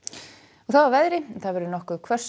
þá að veðri það verður nokkuð hvöss